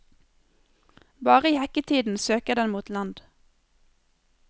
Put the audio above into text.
Bare i hekketiden søker den mot land.